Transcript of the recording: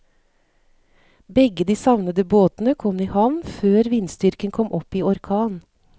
Begge de savnede båtene kom i havn før vindstyrken kom opp i orkan.